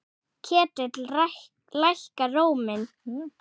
Ketill lækkar róminn.